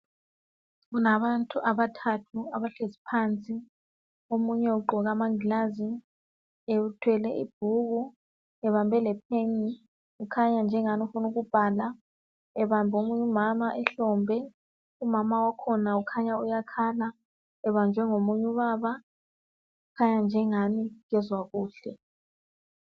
Kulabantu abathathu abahlezi phansi omunye ugqoke amaglass uthwele ibhuku ebambe lepen ukhanya engani ufuna ukubhala ebambe lomunye umama ehlombe umama wakhona ukhanya uyakhala ebanjwe ngomunye ubaba ukhanya engani ekezwa kuhle